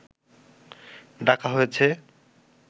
ডাকা হয়েছে